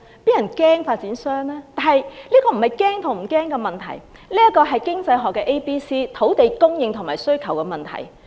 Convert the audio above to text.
這並非怕與不怕的問題，而是經濟學上土地供應和需求問題。